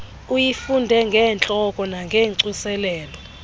uyifunde ngentloko nangocoselelo